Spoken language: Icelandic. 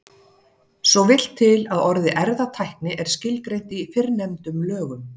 Svo vill til að orðið erfðatækni er skilgreint í fyrrnefndum lögum.